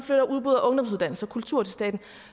ungdomsuddannelser og kultur til staten